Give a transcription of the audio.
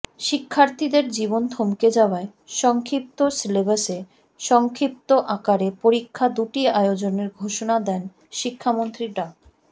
শিক্ষার্থীদের জীবন থমকে যাওয়ায় সংক্ষিপ্ত সিলেবাসে সংক্ষিপ্ত আকারে পরীক্ষা দুটি আয়োজনের ঘোষণা দেন শিক্ষামন্ত্রী ডা